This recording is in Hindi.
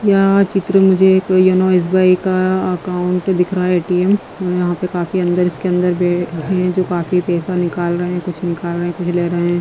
या चित्र में मुझे एक योनो एस_बी_आई का अकाउंट दिख रहा है ए_टी_एम यहां पे काफी अंदर इसके अंदर है जो काफी पैसा निकाल रहे हैं कुछ निकाल रहे हैं कुछ ले रहे हैं।